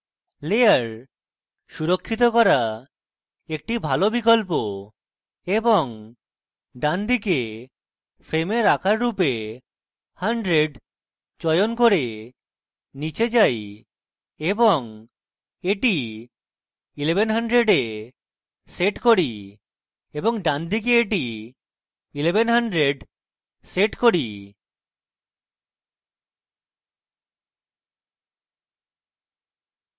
layer সুরক্ষিত করা একটি ভালো বিকল্প এবং ডানদিকে frame আকার রূপে 100 চয়ন করি করে নীচে যাই এবং এটি 1100 set করি এবং ডানদিকে এটি 1100 set করি